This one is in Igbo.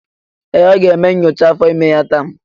Ee! Ọ ga-eme nyocha afọ ime ya taa.